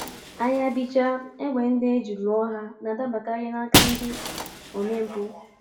Agha bichaa, égbè ndị e ji lụọ ha na-adabakarị n’aka ndị omempụ.